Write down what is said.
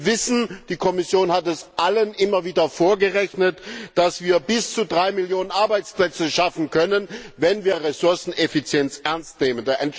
Wir wissen die Kommission hat es allen immer wieder vorgerechnet dass wir bis zu drei Millionen Arbeitsplätze schaffen können, wenn wir Ressourceneffizienz ernst nehmen.